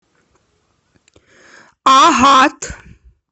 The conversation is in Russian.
агат